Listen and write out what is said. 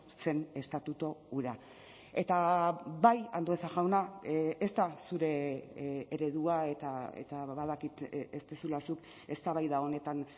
zen estatutu hura eta bai andueza jauna ez da zure eredua eta badakit ez duzula zuk eztabaida honetan